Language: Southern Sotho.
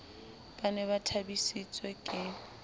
ba ne ba thabisitswe ke